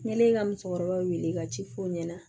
N kɛlen ka musokɔrɔbaw wele ka ci f'u ɲɛna